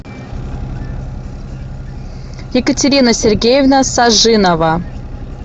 екатерина сергеевна сажинова